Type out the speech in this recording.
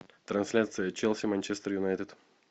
трансляция челси манчестер юнайтед